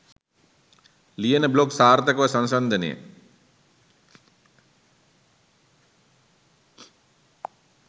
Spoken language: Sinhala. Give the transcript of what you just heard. ලියන බ්ලොග් සාර්ථකව සංසන්දනය